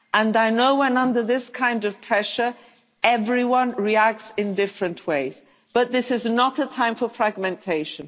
I know that when under this kind of pressure everyone reacts in different ways, but this is not a time for fragmentation